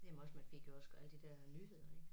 Jamen også man fik jo også alle de der øh nyheder ik